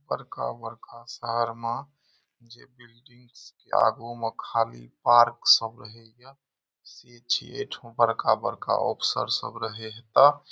बड़का-बड़का शहर मा जे बिल्डिंग के आगू में खली पार्क सब रहेला से छो बड़का-बड़का अफसर सब रहें त।